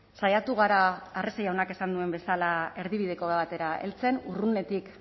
saiatu gara arrese jaunak esan duen bezala erdibideko batera heltzen urrunetik